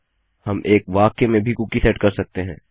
हम एक वाक्य में भी कुकी सेट कर सकते हैं